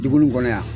Dugu nin kɔnɔ yan